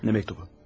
Nə məktubu?